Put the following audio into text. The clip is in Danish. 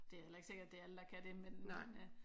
Det er heller ikke sikkert det er alle der kan det men